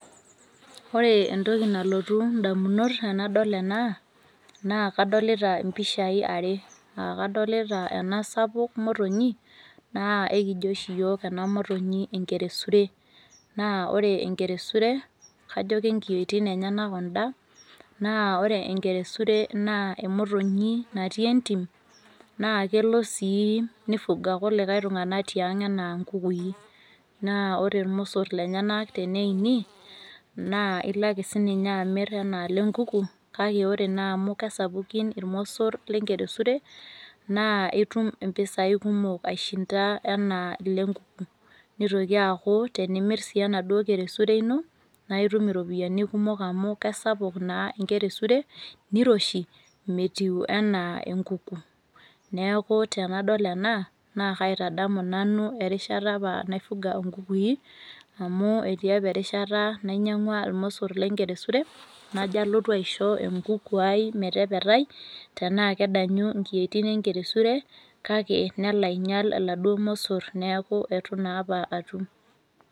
Oree entoki nalotu indamunot tenadol ena naa kadolita impishai are, aakadolita ena sapuk motonyi naa aikijo oshi iyiook ena motonyi enkeresure. Naa ore enkeresure kajo kenkiyuoitin enyena kunnda naa ore enkeresure naa emotonyi natii entim naakelo sii neifuga kulikai tung'anak tiang' enaa nkukui. Naa ore ilmossor lenyenak teneini naa ilake sininye amirr anaa lenkuku kake ore naamu kesapukin ilmossor lenkeresure naa itum impisai kumok aishinda anaa lenkuku. Nitoki aaku tenimirr sii enaduo keresure ino naaitum iropiyani kumok amu keisapuk naa enkeresure niroshi, metiu anaa enkuku. Neaku tenadol naakaitadamu nanu erishata naifuga inkukui amu etii apa erishata nainyang'ua ilmossor lenkeresure najo alotu aisho enkukuai metepetai tenaa kedanyi inkiyuoitin enkeresure kake neloainyal iladuo mosorr neaku etu naapa atum.